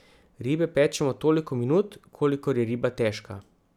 Ribe pečemo toliko minut, kolikor je riba težka.